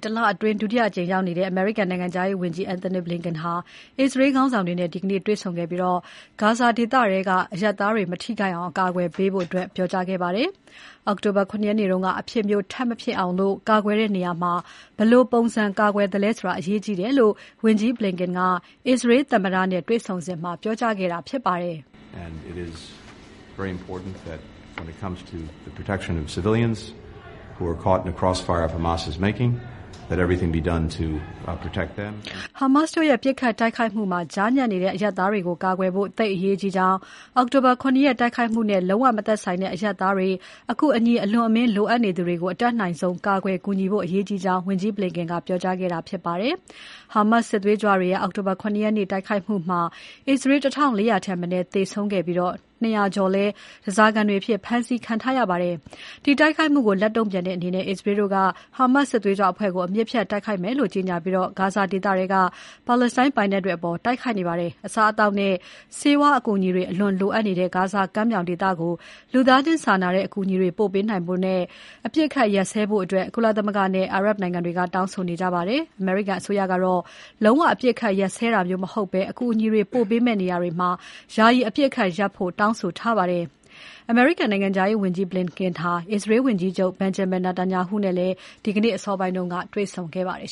တလအတွင်း ဒုတိယအကြိမ် အရှေ့အလယ်ပိုင်းဒေသမှာရောက်နေတဲ့ အမေရိကန်နိုင်ငံခြားရေးဝန်ကြီး Antony Blinken ဟာ အစ္စရေးခေါင်းဆောင်တွေနဲ့ တွေ့ဆုံခဲ့ပြီး ဂါဇာဒေသထဲက အရပ်သားတွေ မထိခိုက်အောင် ကာကွယ်ရမယ်လို့ ပြောကြားခဲ့ပါတယ်။ အောက်တိုဘာ ၇ ရက်နေ့က အဖြစ်မျိုးထပ်မဖြစ်အောင် အစ္စရေးတို့ ကာကွယ်တဲ့နေရာမှာ ဘယ်လိုပုံစံ ကာကွယ်သလဲဆိုတာ အရေးကြီးတယ်လို့ ဝန်ကြီး Blinken က အစ္စရေးသမ္မတ Isaac Herzog တွေ့ဆုံစဉ် ပြောကြားခဲ့တာဖြစ်ပါတယ်။ ဟာမတ်စ်တို့ရဲ့ ပစ်ခတ်တိုက်ခိုက်မှုမှာ ကြားညပ်နေတဲ့အရပ်သားတွေကို ကာကွယ်ဖို့ သိပ်အရေးကြီးကြောင်း၊ အောက်တိုဘာ ၇ ရက်တိုက်ခိုက်မှုနဲ့ လုံးဝမဆိုင်တဲ့အရပ်သားတွေ၊ အကူအညီ အလွန်အမင်းလိုအပ်နေသူတွေကို အတတ်နိုင်ဆုံး ကာကွယ် ကူညီဖို့ အရေးကြီးကြောင်း၊ ဝန်ကြီး Blinken က ပြောကြားခဲ့တာဖြစ်ပါတယ်။ ဟာမတ်စ်စစ်သွေးကြွတွေရဲ့ အောက်တိုဘာ ၇ ရက်နေ့တိုက်ခိုက်မှုမှာ အစ္စရေး ၁၄၀၀ ထက်မနည်းသေဆုံးခဲ့ပြီး ၂၀၀ ကျော်လည်း ဓါးစာခံအဖြစ် ဖမ်းဆီးခံထားရပါတယ်။ အဲဒီတိုက်ခိုက်မှုကို လက်တုံ့ပြန်တဲ့အနေနဲ့ အစ္စရေးတို့က ဟာမတ်စ်စစ်သွေးကြွအဖွဲ့ကို အမြစ်ဖြတ်တိုက်ခိုက်မယ်လို့ ကြေညာပြီး ဂါဇာဒေသထဲက ပါလက်စတိုင်းပိုင်နက်တွေကို တိုက်ခိုက်နေပါတယ်။ အစားအသောက်နဲ့ ဆေးဝါးအကူအညီတွေ အလွန်လိုအပ်နေတဲ့ ဂါဇာကမ်းမြောင်ဒေသကို လူသားချင်းစာနာတဲ့ အကူအညီတွေ ပို့ပေးနိုင်ဖို့ အပစ်အခတ်ရပ်စဲဖို့ ကုလသမဂ္ဂနဲ့ အာရပ်နိုင်ငံတွေက တောင်းဆိုနေကြပါတယ်။ အမေရိကန်အစိုးရကတော့ လုံးဝအပစ်အခတ်ရပ်စဲတာမျိုးမဟုတ်ဘဲ၊ အကူအညီ ပို့ပေးမယ့်နေရာတွေမှာ ယာယီအပစ်အခတ်ရပ်ဖို့ တောင်းဆိုထားပါတယ်။ နိုင်ငံခြားရေးဝန်ကြီး Blinken ဟာ အစ္စရေးဝန်ကြီးချုပ် Benjamin Netanyahu နဲ့လည်း ဒီနေ့ အစောပိုင်းက တွေ့ဆုံခဲ့ပါတယ်